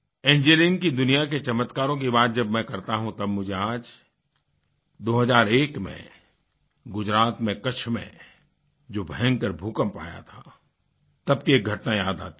engineering की दुनिया के चमत्कारों की बात जब मैं करता हूँ तब मुझे आज 2001 में गुज़रात में कच्छ में जो भयंकर भूकंप आया था तब की एक घटना याद आती है